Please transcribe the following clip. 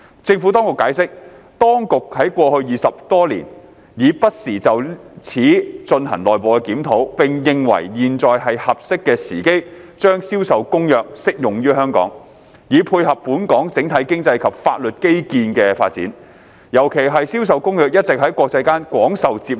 政府當局解釋，當局在過去20多年已不時就此進行內部檢討，並認為現在是合適的時機將《銷售公約》適用於香港，以配合本港整體經濟及法律基建的發展，尤其是《銷售公約》一直在國際間廣受接納。